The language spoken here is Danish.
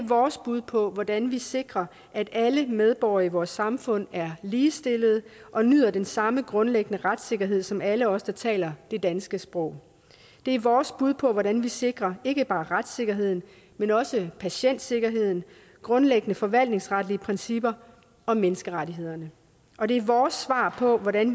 vores bud på hvordan vi sikrer at alle medborgere i vores samfund er ligestillede og nyder den samme grundlæggende retssikkerhed som alle os der taler det danske sprog det er vores bud på hvordan vi sikrer ikke bare retssikkerheden men også patientsikkerheden grundlæggende forvaltningsretlige principper og menneskerettighederne og det er vores svar på hvordan